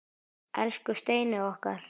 Elsku Steini okkar.